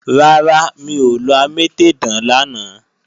Rárá, mi ò lọ amétèdán lánàá